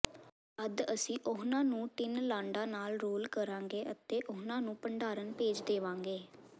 ਤਦ ਅਸੀਂ ਉਹਨਾਂ ਨੂੰ ਟਿਨ ਲਾਡਾਂ ਨਾਲ ਰੋਲ ਕਰਾਂਗੇ ਅਤੇ ਉਨ੍ਹਾਂ ਨੂੰ ਭੰਡਾਰਨ ਭੇਜ ਦੇਵਾਂਗੇ